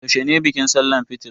Yaushe ne bikin sallahn Eid fitr?